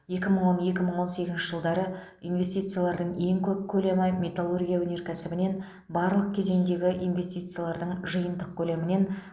екі мың он екі мың он сегізінші жылдары инвестициялардың ең көп көлемі металлургия өнеркәсібінен барлық кезеңдегі инвестициялардың жиынтық көлемінен